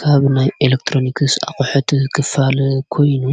ካብናይ ኤሌክጥሮንክስ ኣቝሐቲ ኽፋል ኮይኑ